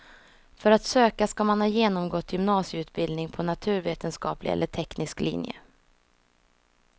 För att söka ska man ha genomgått gymnasieutbildning på naturvetenskaplig eller teknisk linje.